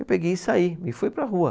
Eu peguei e saí e fui para a rua.